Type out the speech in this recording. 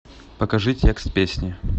покажи текст песни